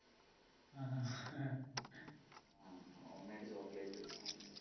home made chocolate